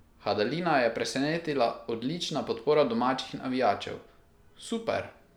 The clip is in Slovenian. Hadalina je presenetila odlična podpora domačih navijačev: "Super.